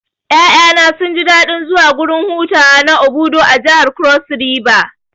Ƴaƴana sunji daɗin zuwa gurin hutawa na Obudu a jihar Cross river